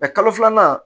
kalo filanan